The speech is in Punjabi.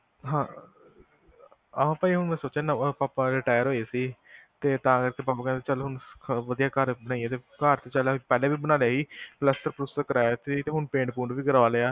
ਹਾਂ ਆਪਾਂ ਹੁਣ ਸੋਚਿਆ ਸੀ ਪਾਪਾ ਹੁਣ retire ਹੋਏ ਸੀ ਤੇ ਤਾਂ ਕਰਕੇ ਪਾਪਾ ਕਹਿੰਦੇ ਚੱਲ ਹੁਣ ਵਧਿਆ ਘਰ ਬਨਾਯਿਏ, ਘਰ ਪਹਿਲਾ ਈ ਬਣਾ ਲਿਆ ਸੀ ਪਲਾਸਤਰ ਕਰਾਇਆ ਸੀ ਤੇ ਪੇਟ ਵੀ ਕਰਾ ਲਿਆ